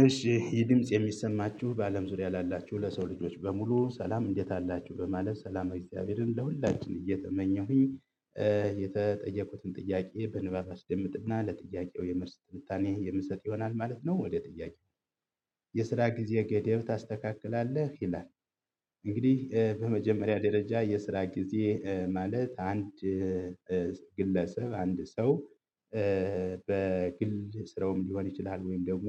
እሺ የድምጽ የሚሰማችሁ በአለም ዙሪያ ላላችሁ ለሰው ልጆች በሙሉ ሰላም እንዴት አላችሁ በማለት ሰላም እግዚአብሔርን ለሁላችን እየተመኘሁኝ። የተጠየቁትን ጥያቄ በንባብ አስደምጥና ለጥያቄው የመልስ ትንታኔ የምሰጥ ይሆናል ማለት ነው። ወደ ጥያቄው? የስራ ጊዜ ገደብ ታስተካክላለህ ይላል? እንግዲህ በመጀመሪያ ደረጃ የስራ ጊዜ ማለት አንድ ግለሰብ አንድ ሰው በግል ስረውም ሊሆን ይችላል። ወይም ደግሞ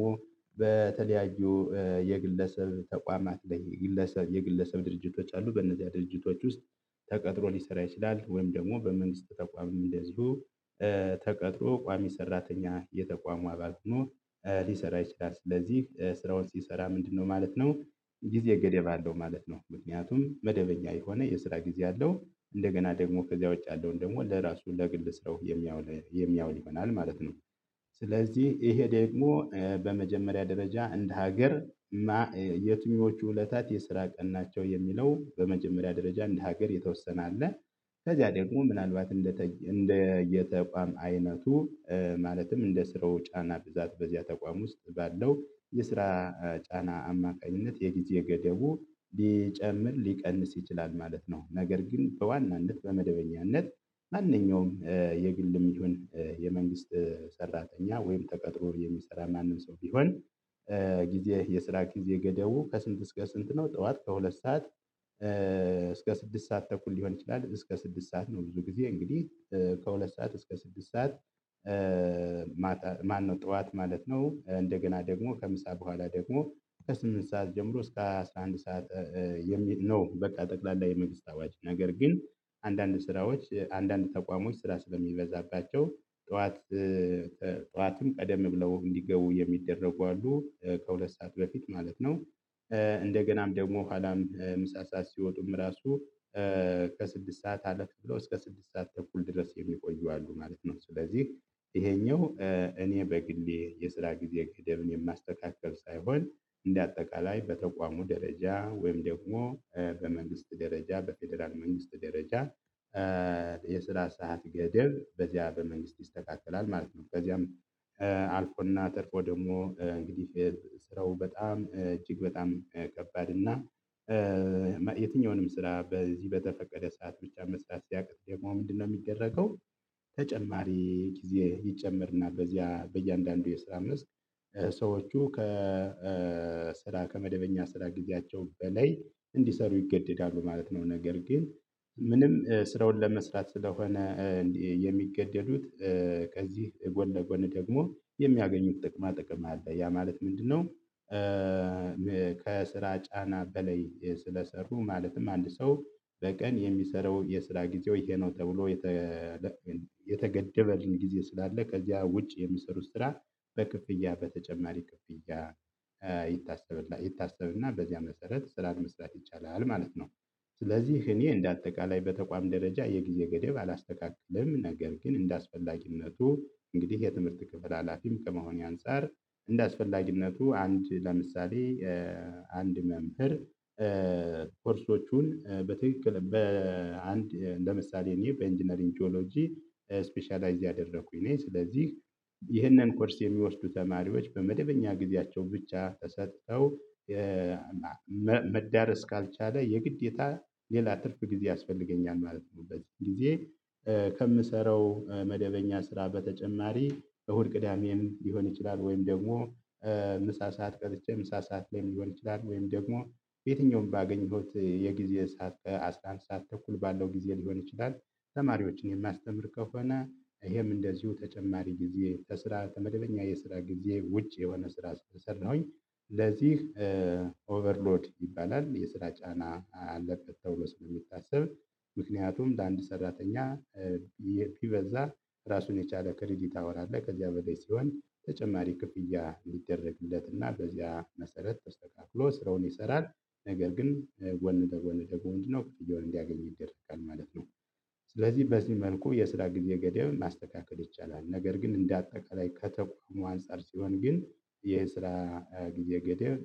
የግለሰብ ተቋማት ላይ የግለሰብ የግለሰብ ድርጅቶች አሉ። በእነዚያ ድርጅቶች ውስጥ ተቀጥሮ ሊሰራ ይችላል። ወይም ደግሞ በመንግስት ተቋምም እንደዚሁ ተቀጥሮ ቋሚ ሰራተኛ የተቋሙ አባል ሆኖ ሊሰራ ይችላል። ስለዚህ ስራውን ሲሰራ ምንድነው? ማለት ነው ጊዜ ገደብ አለው ማለት ነው። ምክንያቱም መደበኛ የሆነ የስራ ጊዜ አለው። እንደገና ደግሞ ከዚያ ውጭ ያለውን ደግሞ ለራሱ ለግል ሰራው የሚያውል የሚያውል ይሆናል ማለት ነው። ስለዚህ ይሄ ደግሞ በመጀመሪያ ደረጃ እንደ ሀገር። የትኞቹ እለታት የስራ ቀን ናቸው። የሚለው በመጀመሪያ ደረጃ እንደ ሀገር የተወሰነ አለ። ከዚያ ደግሞ ምናልባት እንደ እንደ የተቋም አይነቱ ማለትም እንደ ስራው ጫና ብዛት በዚያ ተቋም ውስጥ ባለው የስራ ጫና አማካኝነት የጊዜ ገደቡ ሊጨምር ሊቀንስ ይችላል። ማለት ነው። ነገር ግን በዋናነት በመደበኛነት ማንኛውም የግልም ይሁን የመንግስት ሰራተኛ ወይም ተቀጥሮ የሚሰራ ማንም ሰው ቢሆን። ጊዜ የስራ ጊዜ ገደቡ ከስንት እስከ ስንት ነው? ጠዋት ከሁለት ሰዓት እስከ ስድስት ሰዓት ተኩል ሊሆን ይችላል እስከ ስድስት ሰዓት ነው። ብዙ ጊዜ እንግዲህ ከሁለት ሰዓት እስከ ስድስት ሰዓት። ማነው ጠዋት ማለት ነው። እንደገና ደግሞ ከምሳ በኋላ ደግሞ ከስምንት ሰዓት ጀምሮ እስከ አስራ አንድ ሰዓት የሚል ነው። በቃ ጠቅላላ የመንግስት አዋጅ ነገር ግን። አንዳንድ ስራዎች አንዳንድ ተቋሞች ስራ ስለሚበዛባቸው ጠዋት ጠዋትም ቀደም ብለው እንዲገቡ የሚደረጉ አሉ ከሁለት ሰዓት በፊት ማለት ነው። እንደገናም ደግሞ ኋላም ምሳ ሰዓት ሲወጡም ራሱ ከስድስት ሰዓት አለፍ ብሎ እስከ ስድስት ሰዓት ተኩል ድረስ የሚቆዩ አሉ ማለት ነው። ስለዚህ ይሄኛው እኔ በግሌ የስራ ጊዜ ገደብን የማስተካከል ሳይሆን እንደ አጠቃላይ በተቋሙ ደረጃ ወይም ደግሞ በመንግስት ደረጃ በፌደራል መንግስት ደረጃ የስራ ሰዓት ገደብ በዚያ በመንግስት ይስተካከላል ማለት ነው። በዚያም አልቆና ጸድቆ ደግሞ እንግዲህ ስራው በጣም እጅግ በጣም ከባድ እና። የትኛውንም ስራ በዚህ በተፈቀደ ሰዓት ብቻ መስራት ሲያቅት ደግሞ ምንድነው የሚደረገው? ተጨማሪ ጊዜ ይጨመርና በዚያ በእያንዳንዱ የስራ መስክ ሰዎቹ ከስራ ከመደበኛ ስራ ጊዜያቸው በላይ እንዲሰሩ ይገደዳሉ ማለት ነው። ነገር ግን ምንም ስራውን ለመስራት ስለሆነ የሚገደዱት ከዚህ ጎን ለጎን ደግሞ የሚያገኙት ጥቅማ ጥቅም አለ ያ ማለት ምንድነው? ከስራ ጫና በላይ ስለሰሩ ማለትም አንድ ሰው በቀን የሚሰራው የስራ ጊዜው ይሄ ነው። ተብሎ የተገደበልን ጊዜ ስላለ ከዛ ውጭ የሚሰሩት ስራ። በክፍያ በተጨማሪ ክፍያ ይታሰብላ ይታሰብና በዚያ መሰረት ስራን መስራት ይቻላል ማለት ነው። ስለዚህ እኔ እንደ አጠቃላይ በተቋም ደረጃ የጊዜ ገደብ አላስተካክልም ነገር ግን እንደአስፈላጊነቱ እንግዲህ የትምህርት ክፍል ሀላፊም ከመሆኔ አንፃር። እንደአስፈላጊነቱ አንድ ለምሳሌ አንድ መምህር ኮርሶቹን በትክክል በአንድ እንደ ምሳሌ እኔ በኢንጂነሪግጂኦሎጂ ስፔሻላይዝ ያደረኩኝ ነኝ። ስለዚህ ይህንን ኮርስ የሚወስዱ ተማሪዎች በመደበኛ ጊዜያቸው ብቻ ተሰጥተው። መዳረስ ካልቻለ የግዴታ ሌላ ትርፍ ጊዜ ያስፈልገኛል ማለት በዚ ጊዜ። ከምሰራው መደበኛ ስራ በተጨማሪ እሁድ ቅዳሜም ሊሆን ይችላል ወይም ደግሞ ምሳ ሰዓት ቀርቼ ምሳ ሰዓት ላይ ሊሆን ይችላል ወይም ደግሞ ቤየትኛውን ባገኘሁት የጊዜ ሰዓት አስራ አንድ ሰዓት ተኩል ባለው ጊዜ ሊሆን ይችላል። ተማሪዎችን የማስተምር ከሆነ ይሄም እንደዚሁ ተጨማሪ ጊዜ ተስራ ከመደበኛ የስራ ጊዜ ውጭ የሆነ ስራ እስከሰራሁኝ። ለዚህ ኦቨርሎድ ይባላል የስራ ጫና አለለበት ተብሎ ተብሎ ስለሚታሰብ። ምክንያቱም ለአንድ ሰራተኛ የሚበዛ ራሱን የቻለ ክሪዲት አወር አለ። ከዚያ በላይ ሲሆን ተጨማሪ ክፍያ የሚደረግለት እና በዚያ መሰረት ተስተካክሎ ስራውን ይሰራል። ነገር ግን ለጎን ደገሞ ክፍያዉን እዲያገኘ ይደረጋል ማለት ነው። ስለዚህ በዚህ ልኩ የስራ ጊዜ ገደብ ማስተካከል ይቻላል። ነገር ግን እንደ አጠቃላይ ከተቋሙ አንፃር ሲሆን ግን የስራ ጊዜ ገደብ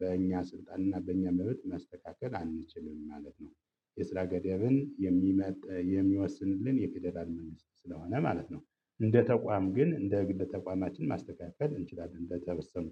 በእኛ ስልጣን እና በእኛ መብት ማስተካከል አንችልም ማለት ነው። የስራ ገደብን የሚመጥ የሚወስንልን የፌደራል መንግስት ስለሆነ ማለት ነው። እንደ ተቋም ግን እንደ ግል ተቋማችን ማስተካከል እንችላለን በተበወሰኑ